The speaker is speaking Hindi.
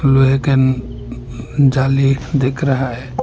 लोहे के न जाली दिख रहा है।